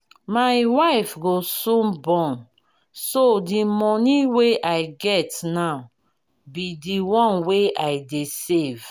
my wife go soon born so the money wey i get now be the one wey i dey save